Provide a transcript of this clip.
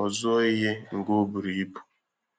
ọ zụọ ihe nga o buru ibu.